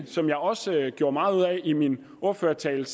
som jeg også gjorde meget ud af i min ordførertale